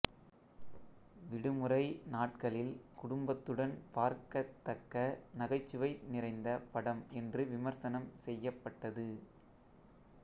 விடுமுறை நாட்களில் குடும்பத்துடன் பார்க்கத் தக்க நகைச்சுவை நிறைந்த படம் என்று விமர்சனம் செய்யப்பட்டது